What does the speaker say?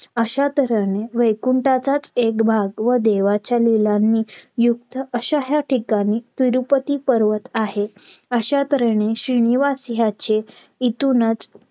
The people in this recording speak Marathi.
अश्या तऱ्हेने वैकुंटाचाच एक भाग व देवाच्या लीलांनी युक्त अश्या ह्या ठिकाणी तिरुपती पर्वत आहे. अश्या तर्हेने श्रीनिवास ह्याचे इथूनच